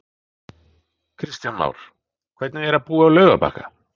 Kristján Már: Hvernig er að búa á Laugarbakka?